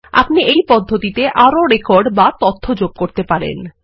আপনি এই পদ্ধতিতে আরো রেকর্ডবা তথ্য যোগ করতে পারেন